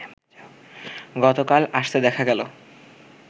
গতকাল আসতে দেখা গেল